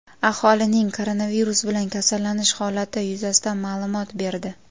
aholining koronavirus bilan kasallanish holati yuzasidan ma’lumot berdi.